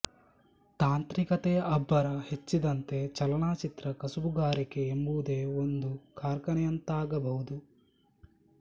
ತಾಂತ್ರಿಕತೆಯ ಅಬ್ಬರ ಹೆಚ್ಚಿದಂತೆ ಚಲನಚಿತ್ರ ಕಸುಬುಗಾರಿಕೆ ಎಂಬುದೇ ಒಂದು ಕಾರ್ಖಾನೆಯಂತಾಗಬಹುದು